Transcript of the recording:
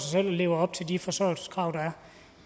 lever op til de forsørgelseskrav der